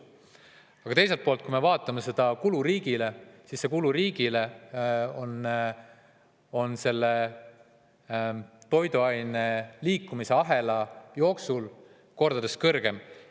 Aga teiselt poolt, kui me vaatame kulu riigile, siis kulu riigile on selle toiduaine liikumise ahela jooksul kordades kõrgem.